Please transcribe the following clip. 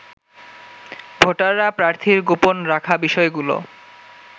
ভোটাররা প্রার্থীর গোপন রাখা বিষয়গুলো